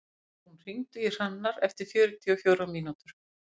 Ástrún, hringdu í Hrannar eftir fjörutíu og fjórar mínútur.